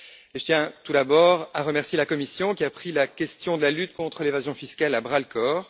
Je tiens, tout d'abord, à remercier la Commission, qui a pris la question de la lutte contre l'évasion fiscale à bras le corps.